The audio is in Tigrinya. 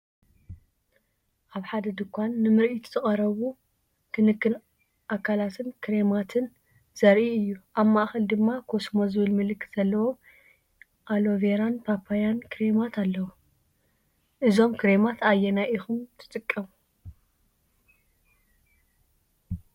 ኣብ ሓደ ድኳን ንምርኢት ዝቐረቡ ክንክን ኣካላትን ክሬማትን ዘርኢ እዩ። ኣብ ማእከል ድማ “ኮስሞ” ዝብል ምልክት ዘለዎም ኣሎቬራን ፓፓያን ክሬማት ኣለው። ካብዞም ክሬማት ኣየናይ ኢኩም ትጥቀሙ?